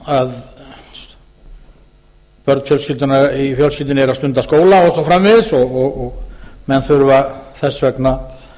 verð á húsnæði eða að börn í fjölskyldunni eru að stunda skóla og svo framvegis og menn þurfa þess vegna að